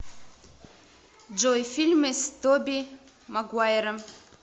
джой фильмы с тоби магуайром